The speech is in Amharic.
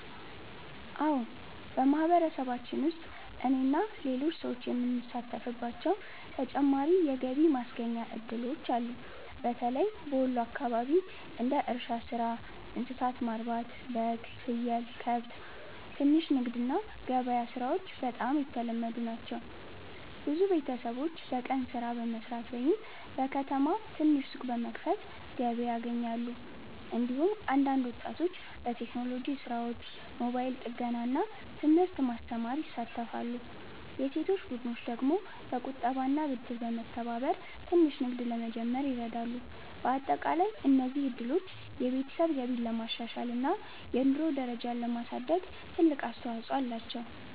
አዎን፣ በማህበረሰባችን ውስጥ እኔና ሌሎች ሰዎች የምንሳተፍባቸው ተጨማሪ የገቢ ማስገኛ እድሎች አሉ። በተለይም በወሎ አካባቢ እንደ እርሻ ሥራ፣ እንስሳት ማርባት (በግ፣ ፍየል፣ ከብት)፣ ትንሽ ንግድ እና ገበያ ሥራዎች በጣም የተለመዱ ናቸው። ብዙ ቤተሰቦች በቀን ሥራ በመስራት ወይም በከተማ ትንሽ ሱቅ በመክፈት ገቢ ያገኛሉ። እንዲሁም አንዳንድ ወጣቶች በቴክኖሎጂ ሥራዎች፣ ሞባይል ጥገና እና ትምህርት ማስተማር ይሳተፋሉ። የሴቶች ቡድኖች ደግሞ በቁጠባና ብድር በመተባበር ትንሽ ንግድ ለመጀመር ይረዳሉ። በአጠቃላይ እነዚህ እድሎች የቤተሰብ ገቢን ለማሻሻል እና የኑሮ ደረጃን ለማሳደግ ትልቅ አስተዋፅኦ አላቸው።